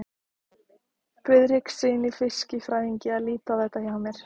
Friðrikssyni fiskifræðingi að líta á þetta hjá mér.